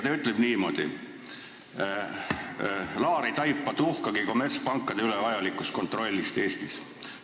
Ta ütleb niimoodi: "Laar ei taipa tuhkagi kommertspankade üle vajalikust kontrollist Eestis.